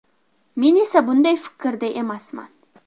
Men esa bunday fikrda emasman.